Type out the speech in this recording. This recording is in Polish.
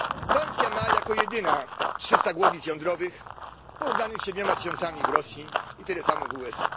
Francja ma jako jedyna 300 głowic jądrowych, w porównaniu z 7 tysiącami w Rosji i tyle samo w USA.